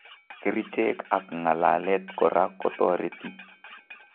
Kericheek ak ng'alalet koraa kotoreti